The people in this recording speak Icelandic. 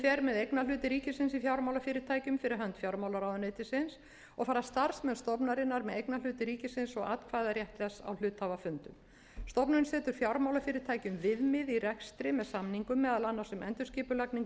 fer með eignarhluti ríkisins í fjármálafyrirtækjum fyrir hönd fjármálaráðuneytisins og fara starfsmenn stofnunarinnar með eignarhluti ríkisins og atkvæðarétt þess á hluthafafundum stofnunin setur fjármálafyrirtækjum viðmið í rekstri með samningum meðal annars um endurskipulagningu